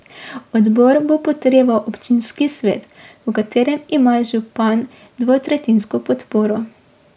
Odbor bo potrjeval občinski svet, v katerem ima župan dvetretjinsko podporo.